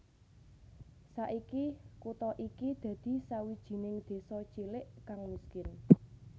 Saiki kutha iki dadi sawijining désa cilik kang miskin